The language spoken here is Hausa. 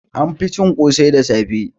An fi cin ƙosai da safe